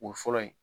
O fɔlɔ ye